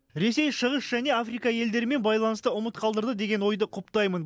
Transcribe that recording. ресей шығыс және африка елдерімен байланысты ұмыт қалдырды деген ойды құптаймын